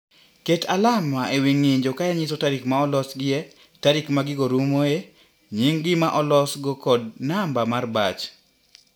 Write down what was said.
Ket alama e wi ng'injo ka inyiso tarik ma ne olosgie, tarik ma gigo rumoe, nying' gima olosgo kod namba mar batch.